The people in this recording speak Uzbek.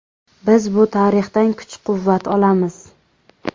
Biz bu tarixdan kuch-quvvat olamiz.